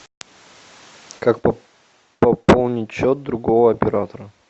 как пополнить счет другого оператора